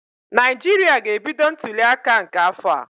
Naijiria ga-ebido ntuliaka nke afọ a.